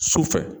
Sufɛ